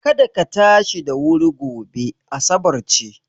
Kada ka tashi da wuri gobe, asabar ce.